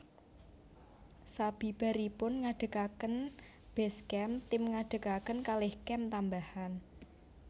Sabibaripun ngadhegaken base camp tim ngadhegaken kalih camp tambahan